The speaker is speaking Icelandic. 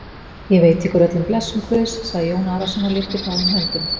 Ég veiti ykkur öllum blessun Guðs, sagði Jón Arason og lyfti báðum höndum.